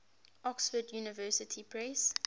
oxford university press